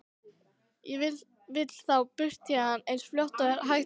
Ég vil þá burt héðan eins fljótt og hægt er.